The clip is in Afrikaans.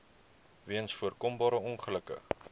weens voorkombare ongelukke